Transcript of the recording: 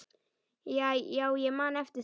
Já, ég man eftir því.